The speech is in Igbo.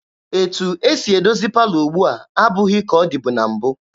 Etu esi edozi palọ ugbua abụghị ka ọ dị na mbụ.